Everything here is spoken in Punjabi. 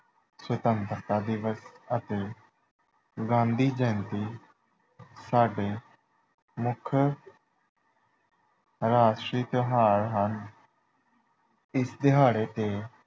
ਸੁਤੰਤਰਤਾ ਦਿਵਸ ਅਤੇ ਗਾਂਧੀ ਜਯੰਤੀ ਸਾਡੇ ਮੁੱਖ ਰਾਸ਼ਟਰੀ ਤਿਉਹਾਰ ਹਨ ਇਸ ਦਿਹਾੜੇ ਤੇ